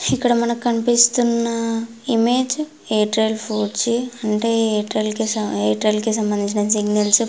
ఇక్కడ మనకు కనిపిస్తున్న ఇమేజ్ ఎయిర్టెల్ ఫోర్ జీ అంటే ఎయిర్టెల్ కి సంబందించిన సిగ్నల్స్ --